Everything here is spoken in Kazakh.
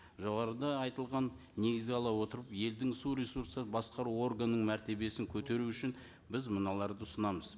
жоғарыда айтылғанды негізге ала отырып елдің су ресурстар басқару органының мәртебесін көтеру үшін біз мыналарды ұсынамыз